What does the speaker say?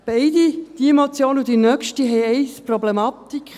Beide, diese und die nächste Motion haben eine Problematik.